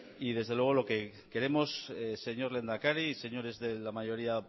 desde luego lo que queremos señor lehendakari y señores de la mayoría